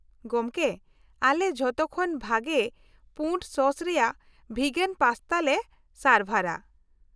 -ᱜᱚᱢᱠᱮ, ᱟᱞᱮ ᱡᱷᱚᱛᱚ ᱠᱷᱚᱱ ᱵᱷᱟᱜᱮ ᱯᱩᱸᱰ ᱥᱚᱥ ᱨᱮᱭᱟᱜ ᱵᱷᱤᱜᱟᱱ ᱯᱟᱥᱛᱟ ᱞᱮ ᱥᱟᱨᱵᱷᱟᱨᱟ ᱾